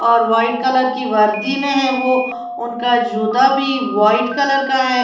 और white colour की वर्दी में है वो उनका जूता भी वाइट कलर का है।